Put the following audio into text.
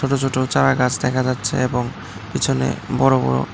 ছোট ছোট চারাগাছ দেখা যাচ্ছে এবং পিছনে বড় বড়--